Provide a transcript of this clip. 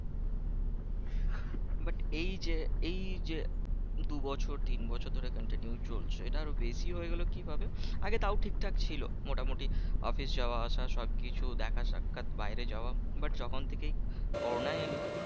But এই যে এই যে দুবছর তিন বছর ধরে continue চলছে এটা আরো বেশি হয়ে গেল কিভাবে? আগে তাও ঠিকঠাক ছিল মোটামোটি office যাওয়া আসা সব কিছু দেখা সাক্ষাৎ বাইরে যাওয়া but যখন থেকে করোনা এল